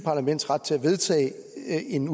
en